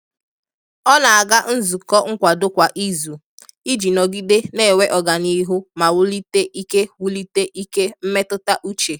Ọ na-aga nzukọ nkwado kwa izu iji nọgide na-enwe ọganihu ma wulite ike wulite ike mmetụta uche.